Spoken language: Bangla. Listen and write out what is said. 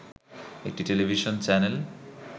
একটি টেলিভিশন চ্যানেল